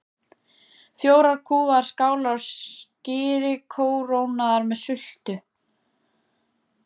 Fjórar kúfaðar skálar af skyri kórónaðar með sultu.